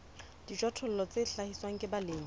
dijothollo tse hlahiswang ke balemi